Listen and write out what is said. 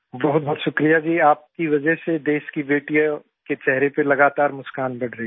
बहुत बहुत शुक्रिया जी आपकी वजह से देश की बेटियों के चेहरे पर लगातार मुस्कान बढ़ रही है